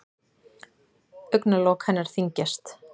Augnalok hennar þyngjast.